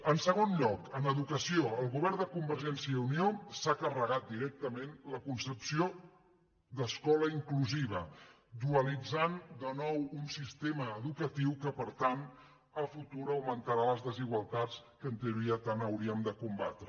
en segon lloc en educació el govern de conver·gència i unió s’ha carregat directament la concepció d’ escola inclusiva i ha dualitzat de nou un siste·ma educatiu que per tant en el futur augmentarà les desigualtats que en teoria tant hauríem de combatre